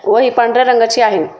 व ही पांढर्‍या रंगाची आहे.